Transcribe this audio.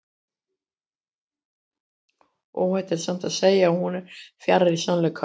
óhætt er samt að segja að hún er fjarri sannleikanum